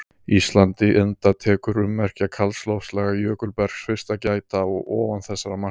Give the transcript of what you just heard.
Íslandi enda tekur ummerkja kalds loftslags- jökulbergs- fyrst að gæta ofan þessara marka.